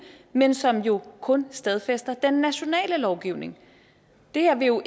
men som jo kun stadfæster den nationale lovgivning det her vil jo